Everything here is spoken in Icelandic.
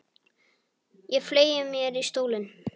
Ég fleygi mér í stólinn.